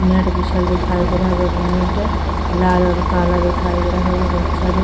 Net बिछल दिखाई दे रहल बा। नेट लाल और काला दिखाई दे रहल बा। बच्चा लोग --